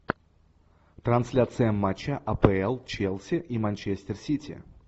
трансляция матча апл челси и манчестер сити